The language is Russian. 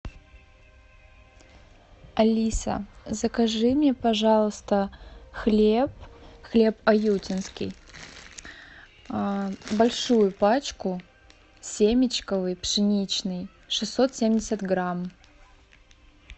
алиса закажи мне пожалуйста хлеб хлеб аютинский большую пачку семечковый пшеничный шестьсот семьдесят грамм